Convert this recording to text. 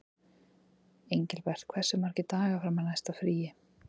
Engilbert, hversu margir dagar fram að næsta fríi?